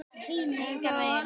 Engan veginn